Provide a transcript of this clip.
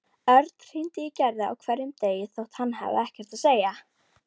Örn hringdi í Gerði á hverjum degi þótt hann hafði ekkert að segja.